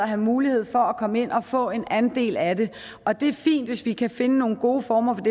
have mulighed for at komme ind og få en andel af og det er fint hvis vi kan finde nogle gode former for